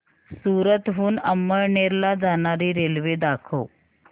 सूरत हून अमळनेर ला जाणारी रेल्वे दाखव